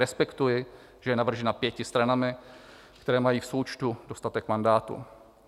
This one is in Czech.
Respektuji, že je navržena pěti stranami, které mají v součtu dostatek mandátů.